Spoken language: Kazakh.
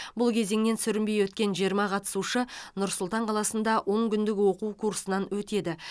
бұл кезеңінен сүрінбей өткен жиырма қатысушы нұр сұлтан қаласында он күндік оқу курсынан өтеді